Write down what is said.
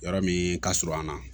Yɔrɔ min ka surun an na